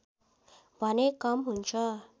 भने कम हुन्छ